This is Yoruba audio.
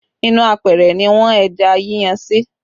Inú apẹ̀rẹ̀ ni wọ́n ẹja yíyan sí